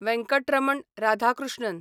Venkataraman Radhakrishnan